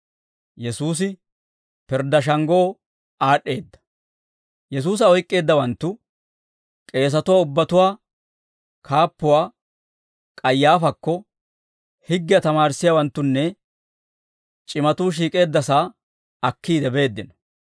Yesuusa oyk'k'eeddawanttu k'eesatuwaa ubbatuwaa kaappuwaa K'ayaafaakko, higgiyaa tamaarissiyaawanttunne c'imatuu shiik'eeddasaa aakkiide beeddino.